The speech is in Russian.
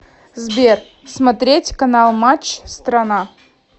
сбер смотреть канал матч страна